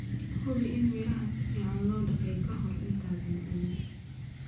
Hubi in midhaha si fiican loo dhaqay ka hor intaadan cunin.